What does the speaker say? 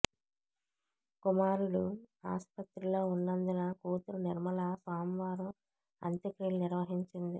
కుమారుడు ఆస్పత్రిలో ఉన్నందున కూతురు నిర్మల సోమవారం అంత్యక్రియలు నిర్వహించింది